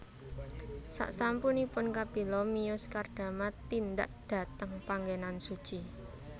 Saksampunipun Kapila miyos Kardama tindak dhateng panggenan suci